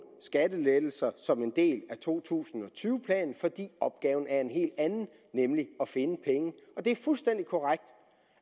skattelettelse som en del af to tusind og tyve planen fordi opgaven er en helt anden nemlig at finde penge det er fuldstændig korrekt